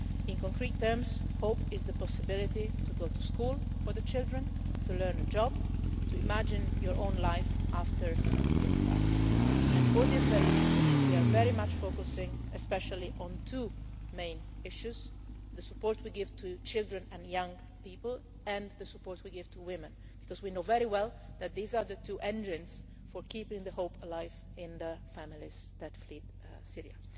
In concrete terms, hope is the possibility to go to school for the children, to learn a job, to imagine your own life after exile, and for this very reason we are very much focusing especially on two main issues the support we give to children and young people and the support we give to women because we know very well that these are the two engines for keeping hope alive in the families that flee Syria.